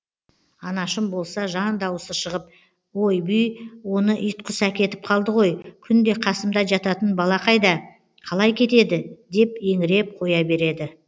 анашым болса жан дауысы шығып ойбүй оны итқұс әкетіп қалды ғой күнде қасымда жататын бала қайда қалай кетеді деп еңіреп қоя береді